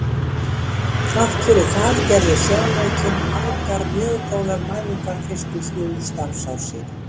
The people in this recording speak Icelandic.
Þrátt fyrir það gerði sjónaukinn margar mjög góðar mælingar fyrstu þrjú starfsár sín.